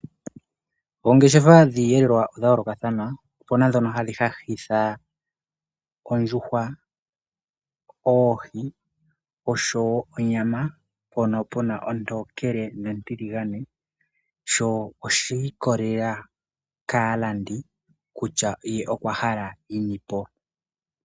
Ongeshefa dhiyelelwa odha yoloka thana ,opena dhono hadhi hahitha ondjuhwa, oohi noshowo onyama mpono pena ontokele nontiligane sho oshi ikwatelela kalandi kutya ye okwa hala yinipo.